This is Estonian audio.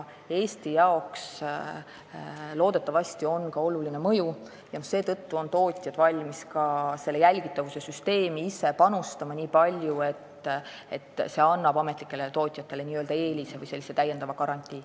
Eesti jaoks on muudatusel loodetavasti oluline mõju ja seetõttu on tootjad valmis sellesse jälgitavussüsteemi panustama nii palju, et see annab ametlikele tootjatele eelise või täiendava garantii.